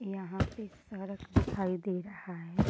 यहाँ पे सड़क दिखाई दे रहा है।